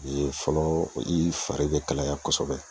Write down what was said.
O ye fɔlɔ , i fari be kalaya kosɛbɛ.